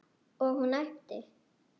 Og hún æpti.